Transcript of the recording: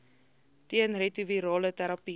teen retrovirale terapie